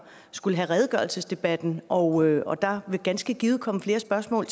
skulle have redegørelsesdebatten og der vil ganske givet komme flere spørgsmål